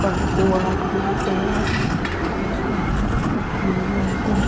दो आदमी दिख रहे और आसमान साफ़ दिख रहा है एकदम।